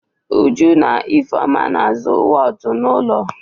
Uju na Ifeọma na-azụ wọọtụ n'ụlọ.